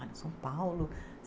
cidade de São Paulo?